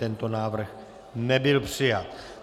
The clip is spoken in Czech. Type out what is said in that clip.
Tento návrh nebyl přijat.